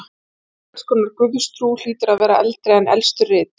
Einhvers konar guðstrú hlýtur að vera eldri en elstu rit.